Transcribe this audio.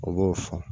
O b'o fɔ